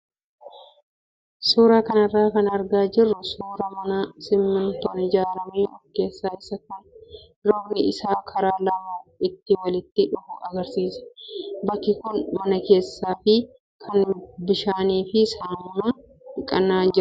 Suuraa kanarraa kan argaa jirru suuraa mana simmintoon ijaaramee fi keessa isaa kan rogni isaa karaa lamaa itti walitti dhufu agarsiisa. Bakki kun mana keessaa fi kan bishaanii fi saamunaan dhiqamaa jirudha.